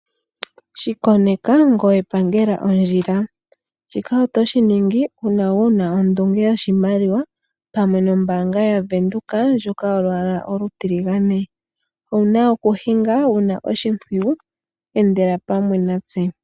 Shi koneka ngoye pangela ondjila! Shika otoshi ningi uuna wu na ondunge yoshimaliwa pamwe nombaanga yaWindhoek ndjoka yolwaala olutiligane. Owu na okuhinga wu na oshimpwiyu. Endela pamwe natse.